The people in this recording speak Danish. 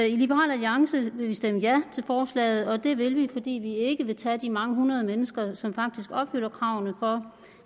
i liberal alliance vil vi stemme ja til forslaget og det vil vi fordi vi ikke vil tage de mange hundrede mennesker som faktisk opfylder kravene for